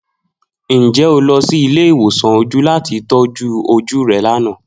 Njẹ o lọ si ile-iwosan oju lati tọju oju rẹ lana?